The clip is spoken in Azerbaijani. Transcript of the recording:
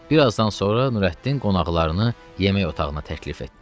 Birazdan sonra Nurəddin qonaqlarını yemək otağına təklif etdi.